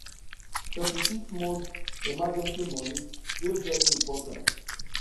36 month emergency money dey very important